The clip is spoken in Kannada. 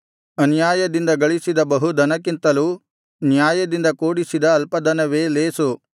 ಅನ್ಯಾಯದಿಂದ ಗಳಿಸಿದ ಬಹು ಧನಕ್ಕಿಂತಲೂ ನ್ಯಾಯದಿಂದ ಕೂಡಿಸಿದ ಅಲ್ಪ ಧನವೇ ಲೇಸು